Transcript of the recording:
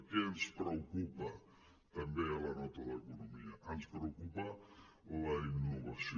què ens preocupa també a la nota d’economia ens preocupa la innovació